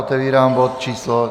Otevírám bod číslo